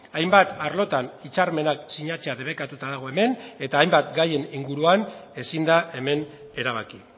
hainbat arlotan hitzarmenak sinatzea debekatuta dago hemen eta hainbat gaien inguruan ezin da hemen erabaki